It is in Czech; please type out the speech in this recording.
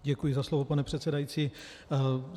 Děkuji za slovo, pane předsedající.